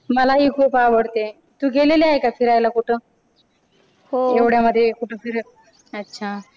मलाही खूप आवडते तू गेलेली आहे का फिरायला कुठं? हो एवढ्यामध्ये कुठं अच्छा